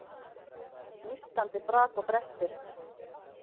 Nístandi brak og brestir.